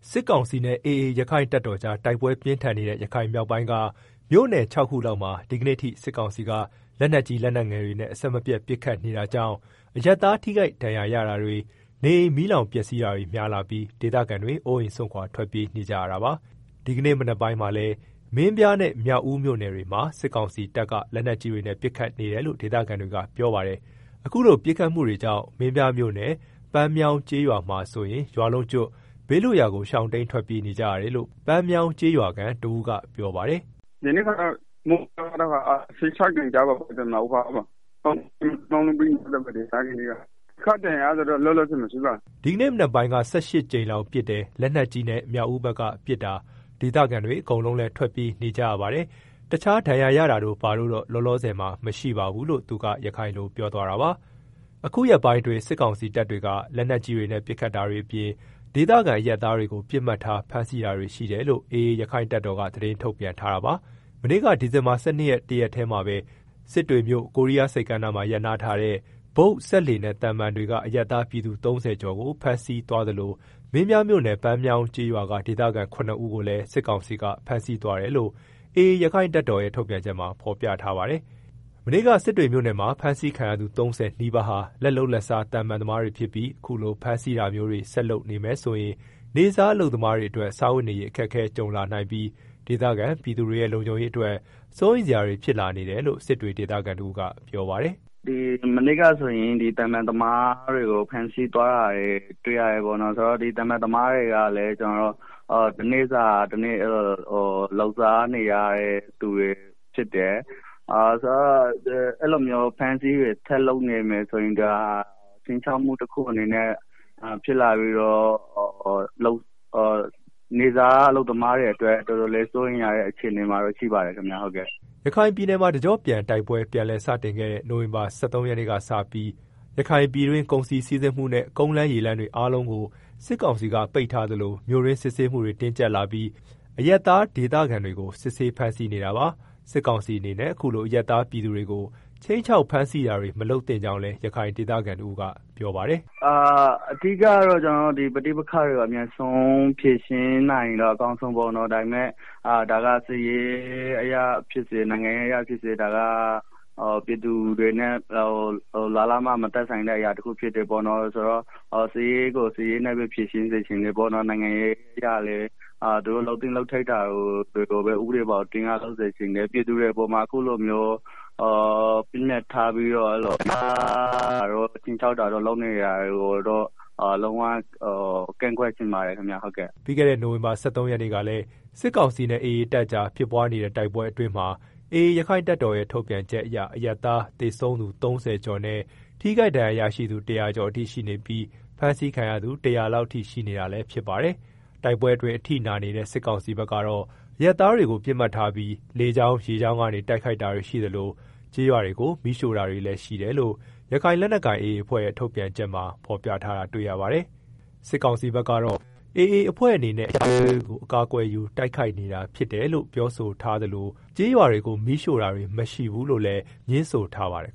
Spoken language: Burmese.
စစ်ကောင်စီနဲ့ AA ရက္ခိုင့်တပ်တော်ကြား တိုက်ပွဲပြင်းထန်နေတဲ့ ရခိုင်မြောက်ပိုင်းက မြို့နယ် ခြောက်ခု လောက်မှာ ဒီကနေ့ အထိ စစ်ကောင်စီက လက်နက်ကြီး လက်နက်ငယ်တွေနဲ့ အဆက်မပြတ် ပစ်ခတ် နေတာကြောင့် အရပ်သား ထိခိုက်ဒဏ်ရာ ရတာတွေ၊ နေအိမ် မီးလောင်ပျက်စီးတာတွေ များလာပြီး ဒေသခံတွေ အိုးအိမ်စွန့်ခွာ ထွက်ပြေးနေကြရတာပါ။ ဒီကနေ့ မနက်ပိုင်းမှာလည်း မင်းပြားနဲ့ မြောက်ဦးမြို့နယ်တွေမှာ စစ်ကောင်စီတပ်က လက်နက်ကြီးတွေနဲ့ ပစ်ခတ်နေတယ်လို့ ဒေသခံတွေက ပြောပါတယ်။ အခုလို ပစ်ခတ်မှုတွေကြောင့် မင်းပြားမြို့နယ် ပန်းမြောင်း ကျေးရွာမှာဆို ရွာလုံးကျွတ် ဘေးလွတ်ရာ ရှောင်တိမ်း ထွက်ပြေးနေကြရတယ်လို့ ပန်းမြောင်းကျေးရွာ ဒေသခံတဦးက ရခိုင်လို ပြောထားတာဖြစ်ပါတယ်။ “ ဒီနေ့ မနက်ပိုင်းက ၁၈ ကြိမ်လောက်ပစ်တယ် လက်နက်ကြီး မြောက်ဦးဖက်က ပစ်တာ၊ ဒေသခံတွေ အကုန်လုံးလည်း ထွက်ပြေးနေကြရတယ်။ တခြား ဒဏ်ရာရတာတို့ ဘာတို့တော့ လောလောဆယ်မှာ မရှိပါဘူး။” အခုရက်ပိုင်းအတွင်း စစ်ကောင်စီတပ်တွေက လက်နက်ကြီးတွေနဲ့ ပစ်ခတ်တာတွေအပြင် ဒေသခံ အရပ်သားတွေကို ပစ်မှတ်ထား ဖမ်းဆီးတာတွေ ရှိတယ်လို့ AA ရက္ခိုင့်တပ်တော်က သတင်း ထုတ်ပြန်ထား တာပါ။ မနေ့က ဒီဇင်ဘာလ ၁၂ရက်နေ့ တရက်တည်းမှာပဲ စစ်တွေမြို့ ကိုးရီးယား ဆိပ်ကမ်းမှာ ရပ်နားထားတဲ့ ဘုတ်၊ စက်လှေနဲ့ သဗ္မာန်တွေက အရပ်သား ပြည်သူ ၃ဝ ကျော်ကို ဖမ်းဆီးသွားသလို မင်းပြားမြို့နယ် ပန်းမြောင်းကျေးရွာက ဒေသခံ ၇ ဦးကိုလည်း စစ်ကောင်စီက ဖမ်းဆီးသွားတယ်လို့ AA ရက္ခိုင့်တပ်တော်ရဲ့ ထုတ်ပြန်ချက်မှာဖော်ပြထားပါတယ်။ မနေ့က စစ်တွေမြို့နယ်က ဖမ်းဆီးခံရသူ ၃၀ နီးပါးဟာ လက်လုပ်လက်စား သဗ္မာန်သမား တွေဖြစ်ပြီး အခုလို ဖမ်းဆီးတာမျိုးတွေ ဆက်လုပ်နေမယ်ဆိုရင် နေ့စား အလုပ်သမား တွေအတွက် စားဝတ်နေရေး အခက်ကြုံလာ နိုင်ပြီး ဒေသခံပြည်သူတွေရဲ့ လုံခြုံရေးအတွက် စိုးရိမ်စရာတွေ ဖြစ်လာနေတယ်လို့ စစ်တွေဒေသခံတဦးက ပြောပါတယ်။ “ မနေ့က ဆိုရင် စက်လှေသမားတွေကို ဖမ်းဆီးသွားတာရှိတယ်၊ ဒီလှေသမားတွေ ဆိုတာ ကလည်း တနေ့စာ တနေ့ လုပ်စားနေရတယ်၊ အဲလိုမျိုးဖမ်းဆီးမှုတွေ ဆက်လုပ် နေမယ်ဆိုရင် ခြိမ်းခြောက်မှု တခုအနေနဲ့ ဖြစ်လာပြီးတော့ နေ့စား အလုပ်သမားတွေအတွက် တော်တော် လေးစိုးရိမ်ရတဲ့ အခြေအနေမှာ ရှိပါတယ်ခင်ဗျာ။” ရခိုင်ပြည်နယ်မှာ တကျော့ပြန်တိုက်ပွဲ ပြန်လည်စတင်ခဲ့တဲ့ နိုင်ဝင်ဘာလ ၁၃ရက်နေ့စနေပြီး ရခိုင်ပြည်တွင်း ကုန်စည်စီးဆင်းမှုနဲ့ ကုန်းလမ်းရေလမ်းတွေကို အားလုံးကို စစ်ကောင်စီက ပိတ်ထားသလို မြို့တွင်း စစ်ဆေးမှုတွေ တင်းကြပ်လာပြီး အရပ်သားဒေသခံ တွေကို စစ်ဆေး ဖမ်းဆီးနေတာပါ။ စစ်ကောင်စီအနေနဲ့ အခုလိုအရပ်သားပြည်သူတွေကို ခြိမ်းခြောက်ဖမ်းဆီးတာတွေ မလုပ်သင့် ကြောင်းလည်း ရခိုင်ဒေသခံ တဦးကပြောပါတယ်။ “ အဓိကတော့ ကျနော်တို့ ပဋိပက္ခတွေကို အမြန်ဆုံး ဖြေရှင်းပေးနိုင်ရင်တော့ အကောင်းဆုံးပေါ့၊ ဒါပေမယ့် ဒါက စစ်ရေးအရဖြစ်စေ နိုင်ငံရေးအရ ဖြစ်စေ ဒါက ပြည်သူတွေနဲ့ လားလားမျှ မသက်ဆိုင်တဲ့ အရာတခုဖြစ်တယ်၊ စစ်ရေးကို စစ်ရေးအရ ဖြေရှင်းကြ နိုင်ငံရေးအရလည်း သူတို့ လုပ်သင့်လုပ်ထိုက်တာကို ဥပဒေဘောင် အတွင်းက လုပ်စေချင်တယ် ပြည်သူတွေအပေါ် အခုလို ပစ်မှတ် ထားပြီးတော့ ဖမ်းဆီးတာတို့ ခြိမ်းခြောက်တာ တို့ လုပ်နေတာကိုတော့ လုံးဝ ကန့်ကွက်ချင်ပါတယ်။” ပြီးခဲ့တဲ့ နိုင်ဝင်ဘာလ ၁၃ ရက်နေ့ကလည်း စစ်ကောင်စီနဲ့ AA တပ်ကြား ဖြစ်ပွားနေတဲ့ တိုက်ပွဲအတွင်းမှာ AA ရက္ခိုင့်တပ်တော်ရဲ့ ထုတ်ပြန်ချက်အရ အရပ်သား သေဆုံးသူ ၃ဝကျော်နဲ့ ထိခိုက်ဒဏ်ရာရရှိသူ ၁ဝဝကျော် အထိရှိနေပြီး ဖမ်းဆီးခံရသူ ၁ဝဝ လောက်အထိရှိနေ တာလည်းဖြစ်ပါတယ်။ တိုက်ပွဲအတွင်း အထိနာနေတဲ့ စစ်ကောင်စီဘက်ကတော့ အရပ်သားတွေကို ပစ်မှတ်ထားပြီး လေကြောင်း ရေကြောင်းတွေက နေ တိုက်ခိုက်နေတာရှိသလို ကျေးရွာတွေကို မီးရှို့တာတွေ လည်းရှိတယ်လို့ ရခိုင်လက် နက်ကိုင် AA အဖွဲ့ရဲ့ ထုတ်ပြန်ချက်တွေမှာ ဖော်ပြထားတာ တွေ့ရပါတယ်။ AA အဖွဲ့အနေနဲ့ အရပ်သားတွေကို အကာ အကွယ်ယူ တိုက်ခိုက်နေ တာဖြစ်တယ်လို့ စစ်ကောင်စီကပြောဆိုထားတာရှိသလို ကျေးရွာတွေကို မီးရှို့တာတွေ မရှိဘူးလို့လည်းငြင်းဆိုထားပါတယ်